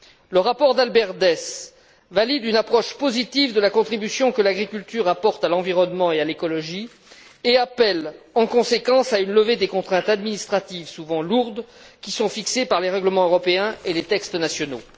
Le rapport d'Albert Dess valide une approche positive de la contribution que l'agriculture apporte à l'environnement et à l'écologie et appelle en conséquence à une levée des contraintes administratives souvent lourdes, qui sont fixées par les règlements européens et les textes nationaux.